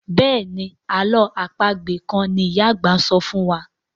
Béèni àlọ́ àpagbè kán ní ìyá àgbà sọfún wá.